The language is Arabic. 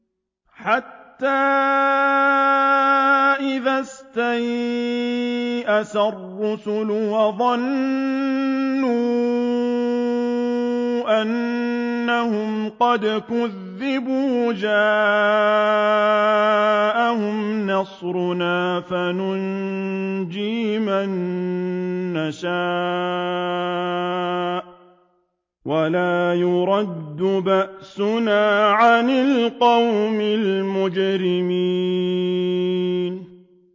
حَتَّىٰ إِذَا اسْتَيْأَسَ الرُّسُلُ وَظَنُّوا أَنَّهُمْ قَدْ كُذِبُوا جَاءَهُمْ نَصْرُنَا فَنُجِّيَ مَن نَّشَاءُ ۖ وَلَا يُرَدُّ بَأْسُنَا عَنِ الْقَوْمِ الْمُجْرِمِينَ